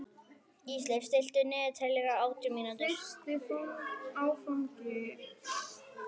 Ísleif, stilltu niðurteljara á átján mínútur.